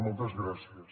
moltes gràcies